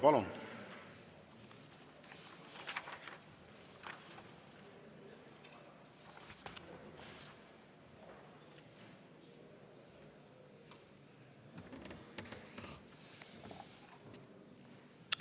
Palun!